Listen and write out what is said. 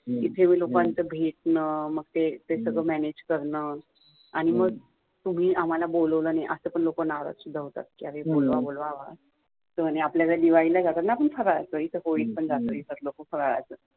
इथे लोकांचं भेटणं भेटणं, ते सगळं manage करणं आणी तुम्ही आम्हाला बोलावलं नाही असं म्हणुन पण लो नाराज पण होतात अरे बोलवा बोलवा तर आपल्या कडे दिवाळी ला जातोत न आपण फ़राळाचं इथे होळीत पण जाता फ़राळाचं